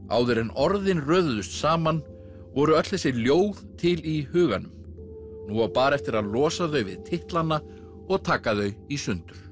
áður en orðin röðuðust saman voru öll þessi ljóð til í huganum nú á bara eftir að losa þau við titlana og taka þau í sundur